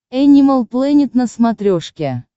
энимал плэнет на смотрешке